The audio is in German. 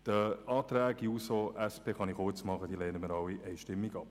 Alle Anträge der SP-JUSO-PSA-Fraktion lehnen wir einstimmig ab.